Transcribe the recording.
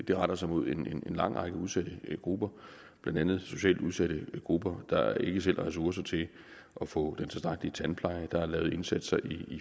de retter sig mod en lang række udsatte grupper blandt andet socialt udsatte grupper der ikke selv har ressourcer til at få den tilstrækkelige tandpleje der er lavet indsatser i